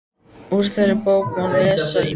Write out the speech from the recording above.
Úr þeirri bók má lesa ýmislegt.